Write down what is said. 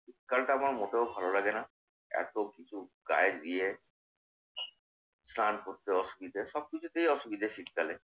শীতকালটা আমার মোটেও ভালো লাগে না। এতকিছু গায়ে দিয়ে স্নান করতে অসুবিধে। সবকিছুতেই অসুবিধে শীতকালে।